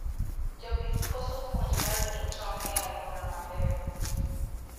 Jopith koso puonj mar rito tong e aluora maber